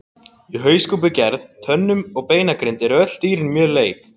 Í hauskúpugerð, tönnum og beinagrind eru dýrin öll mjög lík.